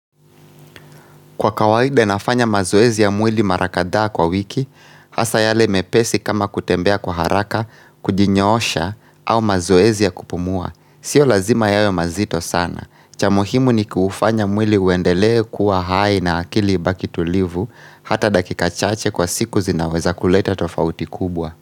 Kwa kawaida nafanya mazoezi ya mwili marakadhaa kwa wiki, hasa yale mepesi kama kutembea kwa haraka, kujinyoosha, au mazoezi ya kupumua. Sio lazima yawe mazito sana. Chamuhimu ni kuufanya mwili uendelee kuwa hai na akili ibaki tulivu, hata dakika chache kwa siku zinaweza kuleta tofauti kubwa.